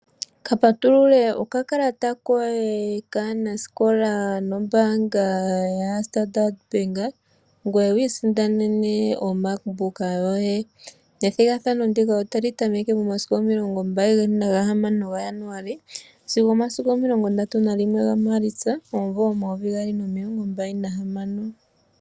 Kapatulule okakalata koye kaanasikola nombaanga yoStandard Bank ngoye wiisindanene oMark Book yoye. Ethigathano ndika otali tameke momasiku omilongo mbali nagahamano gaJanuali sigo omasiku omilongo ndatu nalimwe gaMaalitsa omumvo 2026.